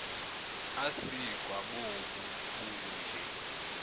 asikwa bobu bunje